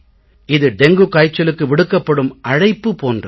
இது டெங்கு காய்ச்சலுக்கு விடுக்கப்படும் அழைப்பு போன்றது